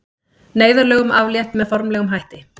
Neyðarlögum aflétt með formlegum hætti